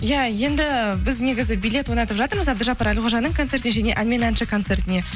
иә енді біз негізі билет ойнатып жатырмыз әбдіжаппар әлқожаның концертіне және ән мен әнші концертіне